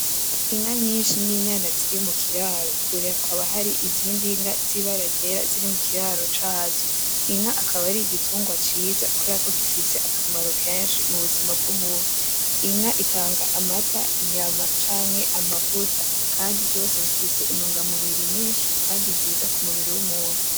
Inka nyinshi ninyana ziri mukiraro kure hakaba hari izindi nka zibara ryera ziri mukiraro cazo inka akaba ari igitungwa ciza kubera ko gifise akamaro kenshi mubuzima bwumuntu inka itanga amata inyama canke amavuta kandi vyose bifise intunga mubiri nyinshi kandi nziza kumubiri wumuntu.